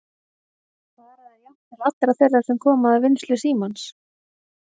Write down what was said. Fara þær jafnt til allra þeirra sem koma að vinnslu símans?